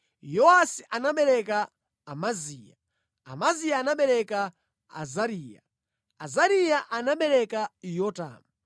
Yowasi anabereka Amaziya, Amaziya anabereka Azariya, Azariya anabereka Yotamu,